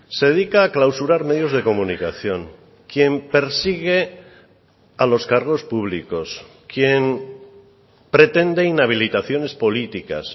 se dedica a clausurar medios de comunicación quien persigue a los cargos públicos quien pretende inhabilitaciones políticas